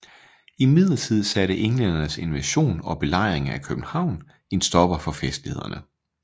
Imidlertid satte englændernes invasion og belejring af København en stopper for festlighederne